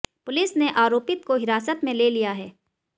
police ने आरोपित को हिरासत में ले लिया है